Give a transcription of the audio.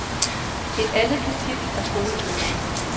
Et andet kapitel er skolebøgerne.